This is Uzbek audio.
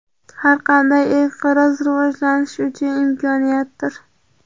Har qanday inqiroz rivojlanish uchun imkoniyatdir.